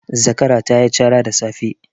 Zakara ta yi cara da safe.